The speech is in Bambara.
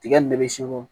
Tiga nin ne bɛ se ko